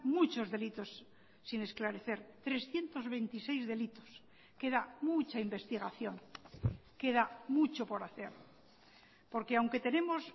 muchos delitos sin esclarecer trescientos veintiséis delitos queda mucha investigación queda mucho por hacer porque aunque tenemos